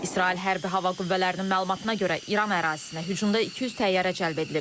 İsrail hərbi hava qüvvələrinin məlumatına görə, İran ərazisinə hücumda 200 təyyarə cəlb edilib.